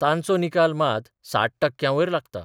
तांचो निकाल मात 60 टक्क्यांवयर लागता.